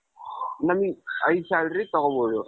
ನಮಿಗ್ high salary ತಗೋಬಹುದು.